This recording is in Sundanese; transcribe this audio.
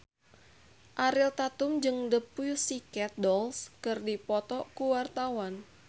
Ariel Tatum jeung The Pussycat Dolls keur dipoto ku wartawan